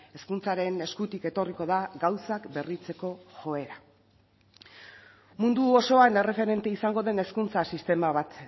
hezkuntzaren eskutik etorriko da gauzak berritzeko joera mundu osoan erreferente izango den hezkuntza sistema bat